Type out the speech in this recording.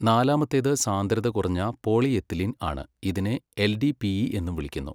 നാലാമത്തേത് സാന്ദ്രത കുറഞ്ഞ പോളിയെത്തിലീൻ ആണ് ഇതിനെ എൽഡിപിഈ എന്നും വിളിക്കുന്നു.